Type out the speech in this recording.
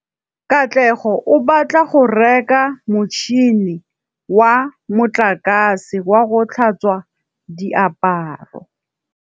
Katlego o batla go reka motšhine wa motlakase wa go tlhatswa diaparo.